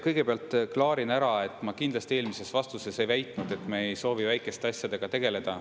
Kõigepealt klaarin ära, et ma kindlasti eelmises vastuses ei väitnud, et me ei soovi väikeste asjadega tegeleda.